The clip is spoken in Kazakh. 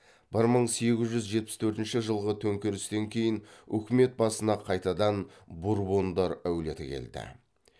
бір мың сегіз жүз жетпіс төртінші жылғы төңкерістен кейін үкімет басына қайтадан бурбондар әулеті келді